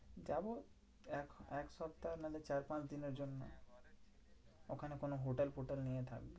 যাবো এক এক সপ্তাহ নাহলে চার পাঁচ দিনের জন্য। ওখানে কোনো হোটেল ফোটেল নিয়ে থাকবো।